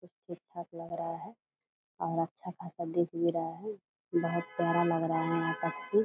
सब ठीक-ठाक लग रहा रहा है और अच्छा खासा दिख भी रहा है। बहुत प्यारा लग रहा है यहाँ पक्षी।